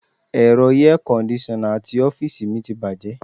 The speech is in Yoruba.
Ẹ̀rọ air kondisona ti ọ́fíìsì mi ti bàjẹ́.